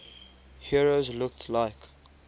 heroes looked like